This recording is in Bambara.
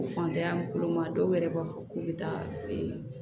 Fantanya bolo ma dɔw yɛrɛ b'a fɔ k'u bɛ taa